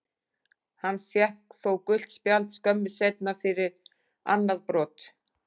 Hann fékk þó gult spjald skömmu seinna fyrir annað brot.